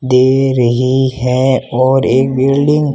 दे रही है और एक बिल्डिंग --